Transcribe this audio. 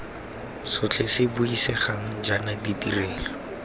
sotlhe se buisegang jaana ditirelo